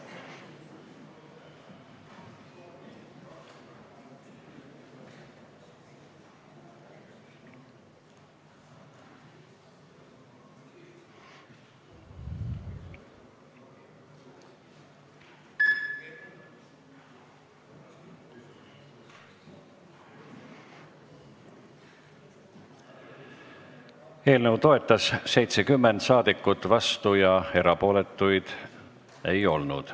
Hääletustulemused Eelnõu toetas 70 rahvasaadikut, vastuolijaid ega erapooletuid ei olnud.